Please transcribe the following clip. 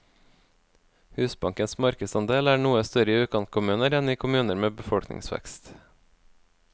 Husbankens markedsandel er noe større i utkantkommuner enn i kommuner med befolkningsvekst.